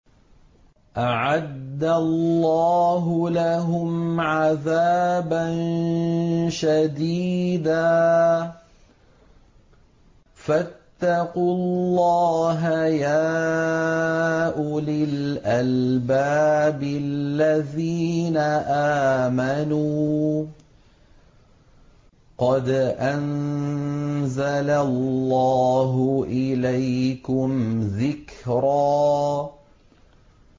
أَعَدَّ اللَّهُ لَهُمْ عَذَابًا شَدِيدًا ۖ فَاتَّقُوا اللَّهَ يَا أُولِي الْأَلْبَابِ الَّذِينَ آمَنُوا ۚ قَدْ أَنزَلَ اللَّهُ إِلَيْكُمْ ذِكْرًا